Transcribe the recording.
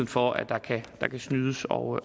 for at der kan snydes og